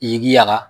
I k'i yaka